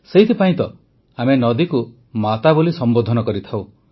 ସେଥିପାଇଁ ତ ଆମେ ନଦୀକୁ ମାତା ବୋଲି ସମ୍ବୋଧନ କରିଥାଉ